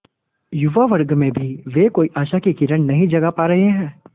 युवा वर्ग में भी वे कोई आशा की किरण नहीं जगा पा रहे हैं